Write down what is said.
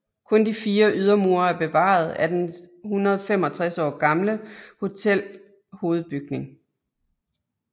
Kun de fire ydermure er bevaret af den 165 år gamle hotel hovedbygning